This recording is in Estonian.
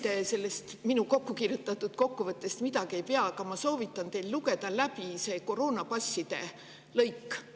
Kuigi te sellest minu kokku kirjutatud kokkuvõttest midagi ei pea, siis ma soovitan teil siiski läbi lugeda lõik koroonapasside kohta.